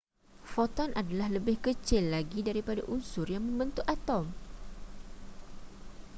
foton adalah lebih kecil lagi daripada unsur yang membentuk atom